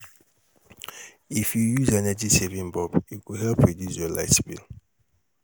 If you use energy, saving bulb, e go help reduce your light bill.